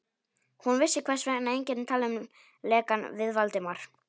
Hún vissi, hvers vegna enginn talaði um lekann við Valdimar.